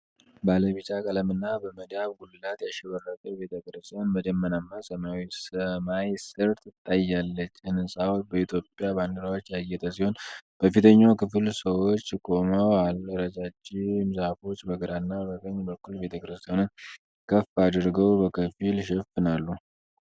ባለ ቢጫ ቀለምና በመዳብ ጉልላት ያሸበረቀች ቤተ ክርስቲያን በደመናማ ሰማያዊ ሰማይ ስር ትታያለች። ሕንጻው በኢትዮጵያ ባንዲራዎች ያጌጠ ሲሆን፣ በፊተኛው ክፍል ሰዎች ቆመዋል። ረጃጅም ዛፎች በግራና በቀኝ በኩል ቤተ ክርስቲያኗን ከፍ አድርገው በከፊል ይሸፍናሉ።